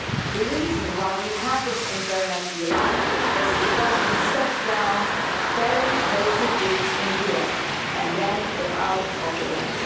The reason why we have this Internet we love is because we set down very basic rules in Europe and then got out of the way.